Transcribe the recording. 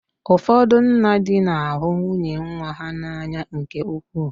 Ụfọdụ nna di na ahụ nwunye nwa ha n'anya nke ukwuu.